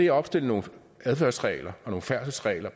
at opstille nogle adfærdsregler nogle færdselsregler